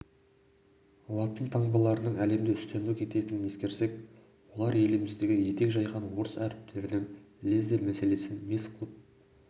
латын таңбаларының әлемде үстемдік ететіндігін ескерсек олар еліміздегі етек жайған орыс әріптерінің лезде мәселесін мес қылып